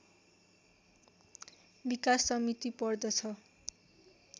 विकास समिति पर्दछ